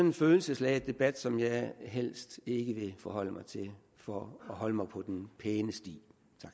en følelsesladet debat som jeg helst ikke vil forholde mig til for at holde mig på den pæne sti